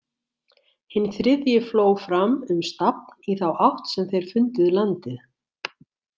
Hinn þriðji fló fram um stafn í þá átt sem þeir fundið landið.